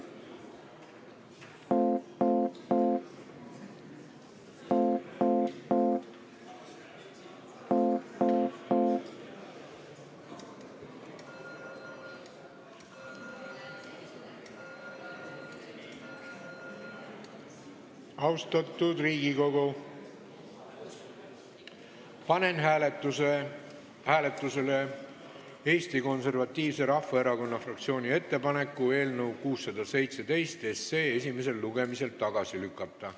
Austatud Riigikogu, panen hääletusele Eesti Konservatiivse Rahvaerakonna fraktsiooni ettepaneku eelnõu 617 esimesel lugemisel tagasi lükata.